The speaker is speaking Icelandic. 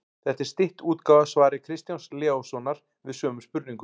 Þetta er stytt útgáfa af svari Kristjáns Leóssonar við sömu spurningu.